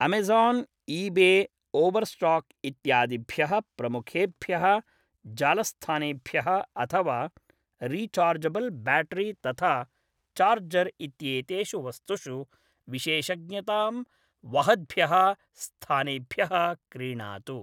Amazon, eBay, Overstock इत्यादिभ्यः प्रमुखेभ्यः जालस्थानेभ्यः अथवा रिचार्जबल्ब्याटरि तथा चार्जर् इत्येतेषु वस्तुषु विशेषज्ञतां वहद्भ्यः स्थानेभ्यः क्रीणातु।